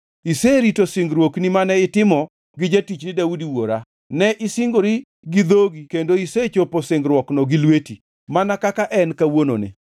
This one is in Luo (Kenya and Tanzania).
Iserito singruokni mane itimo gi jatichni Daudi wuora, ne isingori gi dhogi kendo isechopo singruokno gi lweti, mana kaka en kawuononi.